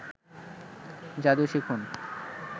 যাদু শিখুন